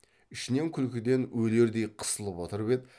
ішінен күлкіден өлердей қысылып отырып еді